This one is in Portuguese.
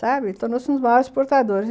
Sabe...Ele tornou-se um dos maiores portadores.